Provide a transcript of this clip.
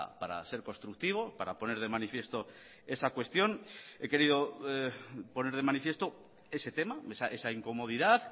para ser constructivo para poner de manifiesto esa cuestión he querido poner de manifiesto ese tema esa incomodidad